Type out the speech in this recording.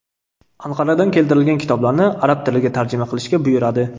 Anqaradan keltirilgan kitoblarni arab tiliga tarjima qilishga buyuradi.